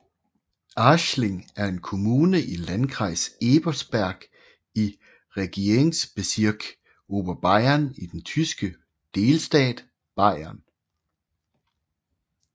Aßling er en kommune i Landkreis Ebersberg i Regierungsbezirk Oberbayern i den tyske delstat Bayern